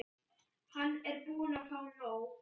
Hann er búinn að fá nóg.